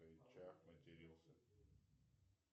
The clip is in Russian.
чах матерился